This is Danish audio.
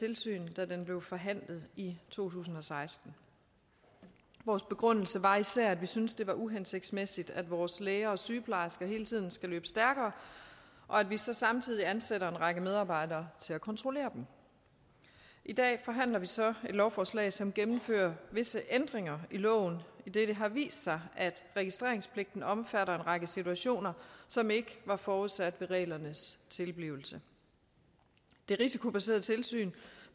tilsyn da den blev forhandlet i to tusind og seksten vores begrundelse var især at vi syntes at det var uhensigtsmæssigt at vores læger og sygeplejersker hele tiden skulle løbe stærkere og at vi så samtidig ansatte en række medarbejdere til at kontrollere dem i dag forhandler vi så et lovforslag som gennemfører visse ændringer i loven idet det har vist sig at registreringspligten omfatter en række situationer som ikke var forudsat ved reglernes tilblivelse det risikobaserede tilsyn